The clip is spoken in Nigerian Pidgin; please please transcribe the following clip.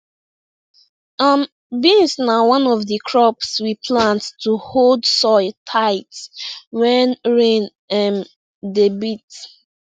um beans na one of di crops we plant to hold soil tight when rain um dey beat